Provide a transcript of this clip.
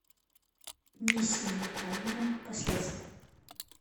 миссия невыполнима последствия